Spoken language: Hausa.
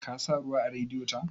Ka sa ruwa a Radiyeto?